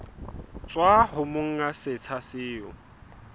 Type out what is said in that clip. tswa ho monga setsha seo